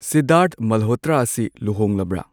ꯁꯤꯙꯥꯔ꯭ꯊ ꯃꯜꯍꯣꯇ꯭ꯔ ꯑꯁꯤ ꯂꯨꯍꯣꯡꯂꯕ꯭ꯔꯥ